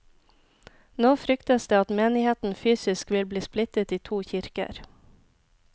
Nå fryktes det at menigheten fysisk vil bli splittet i to kirker.